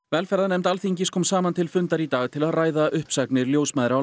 velferðarnefnd Alþingis kom saman til fundar í dag til að ræða uppsagnir ljósmæðra